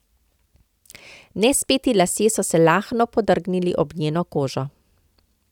Nespeti lasje so se lahno podrgnili ob njeno kožo.